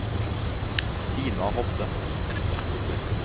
Stina Hovde